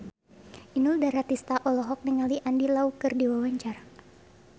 Inul Daratista olohok ningali Andy Lau keur diwawancara